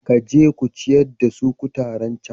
Ka je ku ciyar da su kutaren cen.